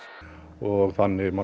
og þannig